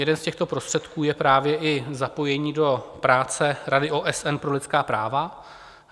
Jeden z těchto prostředků je právě i zapojení do práce Rady OSN pro lidská práva.